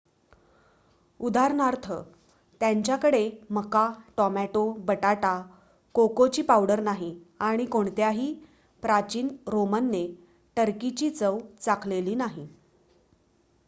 उदाहरणार्थ त्यांच्याकडे मका टोमॅटो बटाटा कोकोची पावडर नाही आणि कोणत्याही प्राचीन रोमनने टर्कीची चव चाखलेली नाही